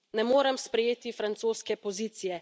Ne morem sprejeti francoske pozicije.